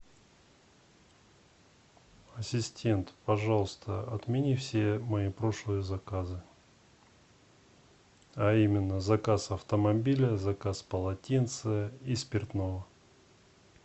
ассистент пожалуйста отмени все мои прошлые заказы а именно заказ автомобиля заказ полотенца и спиртного